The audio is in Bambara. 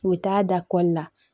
U bɛ taa da la